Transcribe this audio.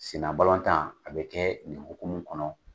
Senna balɔntan a bɛ kɛ nin hukumu kɔnɔ.